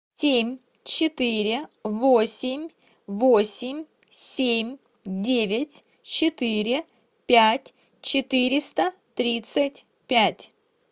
семь четыре восемь восемь семь девять четыре пять четыреста тридцать пять